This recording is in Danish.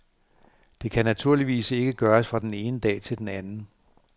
Det kan naturligvis ikke gøres fra den ene dag til den anden.